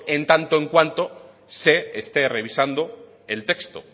en tanto en cuanto se esté revisando el texto